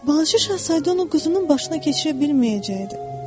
Balaca Şahzadə onu quzunun başına keçirə bilməyəcəkdi.